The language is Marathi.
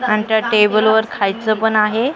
आणि त्या टेबलवर खायचं पण आहे .